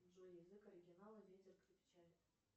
джой язык оригинала ветер крепчает